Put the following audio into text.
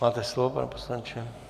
Máte slovo, pane poslanče.